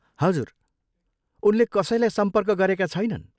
हजुर, उनले कसैलाई सम्पर्क गरेका छैनन्।